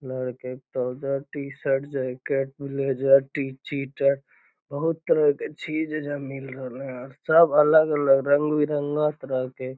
लड़के trouser t-shirt jacket blazer टी चिटर बहुत तरह के चीज एजा मिल रहले हेय और सब अलग-अलग रंग-बिरंगा तरह के।